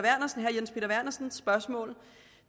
vernersens spørgsmål